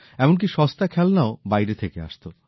এমনকী সস্তা খেলনাও বাইরে থেকে আসত